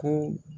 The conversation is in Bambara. Ko